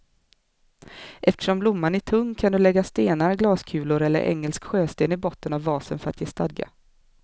Eftersom blomman är tung kan du lägga stenar, glaskulor eller engelsk sjösten i botten av vasen för att ge stadga.